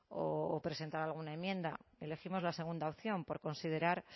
o presentar alguna enmienda elegimos la segunda opción por considerar